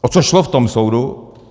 O co šlo v tom soudu?